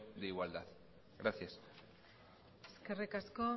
de igualdad gracias eskerrik asko